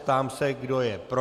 Ptám se, kdo je pro.